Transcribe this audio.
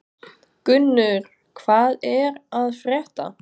Gunnur, hvað er að frétta?